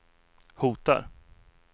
hotar